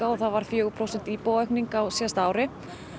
og það varð fjögur prósent á síðasta ári